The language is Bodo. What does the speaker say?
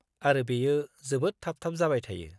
आरो बेयो जोबोद थाब-थाब जाबाय थायो।